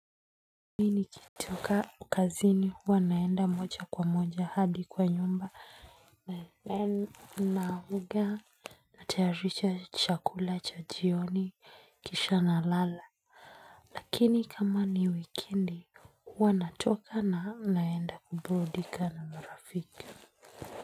Mimi nikitoka kazini huwa naenda moja kwa moja hadi kwa nyumba na naoga natayarisha chakula cha jioni kisha nalala Lakini kama ni wikendi huwa natoka na naenda kuburudika na marafika.